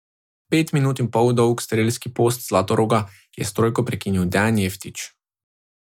Pet minut in pol dolg strelski post Zlatoroga je s trojko prekinil Dejan Jeftić.